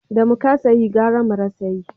Da mu kasa yi gara mu rasa yi